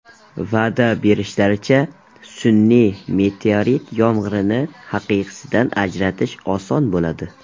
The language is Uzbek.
Va’da berishlaricha, sun’iy meteorit yomg‘irini haqiqiysidan ajratish oson bo‘ladi.